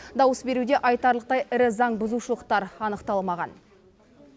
дауыс беруде айтарлықтай ірі заңбұзушылықтар анықталмаған